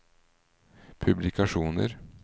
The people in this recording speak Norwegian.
publikasjoner